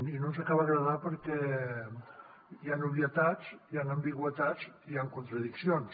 i no ens acaba d’agradar perquè hi han obvietats hi han ambigüitats i hi han contradiccions